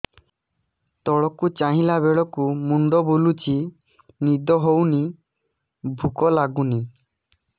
ତଳକୁ ଚାହିଁଲା ବେଳକୁ ମୁଣ୍ଡ ବୁଲୁଚି ନିଦ ହଉନି ଭୁକ ଲାଗୁନି